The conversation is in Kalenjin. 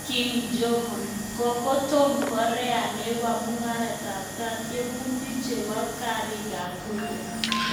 Kim Jong Un: Kokotonon Korea nebo murogatam tyemutik chebo karik ab nuklia